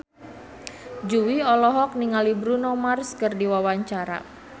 Jui olohok ningali Bruno Mars keur diwawancara